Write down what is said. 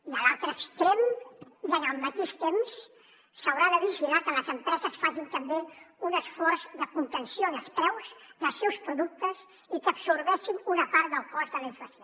i a l’altre extrem i en el mateix temps s’haurà de vigilar que les empreses facin també un esforç de contenció en els preus dels seus productes i que absorbeixin una part del cost de la inflació